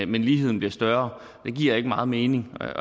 men ligheden bliver større det giver ikke meget mening og jeg